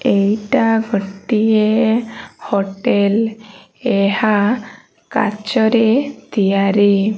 ଏଇଟା ଗୋଟିଏ ହୋଟେଲ । ଏହା କାଚରେ ତିଆରି।